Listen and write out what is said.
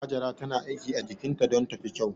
Hajara tana aiki a jikinta don ta fi kyau.